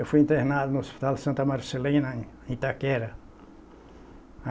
Eu fui internado no Hospital Santa Marcelina, em Itaquera.